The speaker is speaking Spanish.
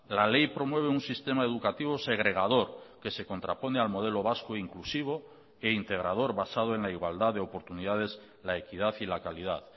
la ley promueve un sistema educativo segregador que se contrapone al modelo vasco inclusivo e integrador basado en la igualdad de oportunidades la equidad y la calidad